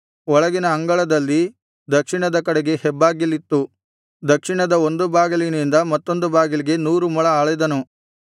ಒಳಗಿನ ಅಂಗಳದಲ್ಲಿ ದಕ್ಷಿಣದ ಕಡೆಗೆ ಹೆಬ್ಬಾಗಿಲಿತ್ತು ದಕ್ಷಿಣದ ಒಂದು ಬಾಗಿಲಿಂದ ಮತ್ತೊಂದು ಬಾಗಿಲಿಗೆ ನೂರು ಮೊಳ ಅಳೆದನು